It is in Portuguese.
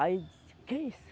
Aí disse, o que é isso?